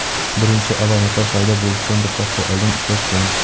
birinchi alomatlar paydo bo‘lishidan bir hafta oldin uchrashgan.